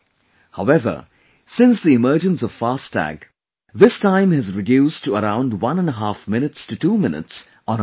However, since the emergence of 'FASTag', this time has reduced to around one and a half minutes to 2 minutes on an average